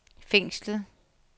fængslet